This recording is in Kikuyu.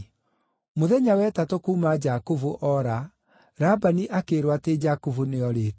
Mũthenya wa ĩtatũ kuuma Jakubu oora, Labani akĩĩrwo atĩ Jakubu nĩorĩte.